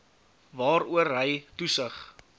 waaroor hy toesig